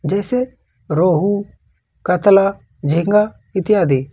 जैसे रोहू कतला झींगा इत्यादि।